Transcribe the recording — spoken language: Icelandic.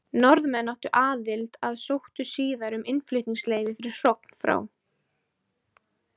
Norðmenn áttu aðild að sóttu síðar um innflutningsleyfi fyrir hrogn frá